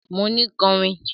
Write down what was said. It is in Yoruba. Mo ni kọrin!